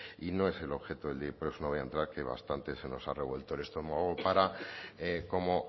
y no es el objeto del día por eso no voy a entrar que bastante se nos ha revuelto el estómago para como